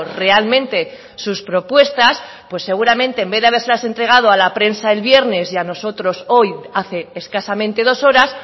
realmente sus propuestas pues seguramente en vez de habérselas entregado a la prensa el viernes y a nosotros hoy hace escasamente dos horas